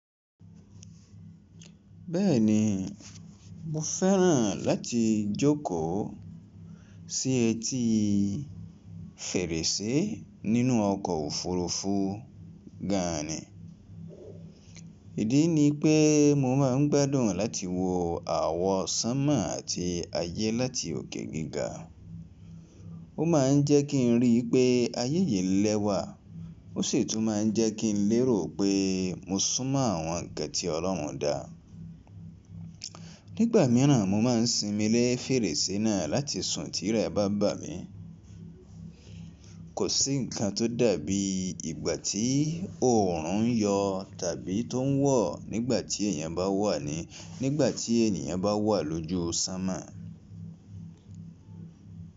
Bẹ́ẹ̀ni, mo fẹ́ràn láti jókòó sí etí fèrèsé nínú ọkọ̀ òfurufú gan-an ni. Ìdí ni pé mo má a ń gbádùn láti wo àwọ̀ Sámà àti ayé láti òkè gíga. Ó má a ń jẹ́ kí n rí i pé ayẹ yi lẹ́wà, ó sì tún má a ń jẹ́ kí n lérò pé mo súnmọ́ àwọn ǹkan tí Ọlọ́run dá. Nígbà mìíràn, mo má a ń sinmi lé fèrèsé náà láti sùn tí rẹ̀ bá bà mí. Kò sí ǹkan tó dàbí ìgbà tí òòrùn ń yọ tàbí tó ń wọ̀ nígbà tí ènìyàn bá wà lójú Sámà.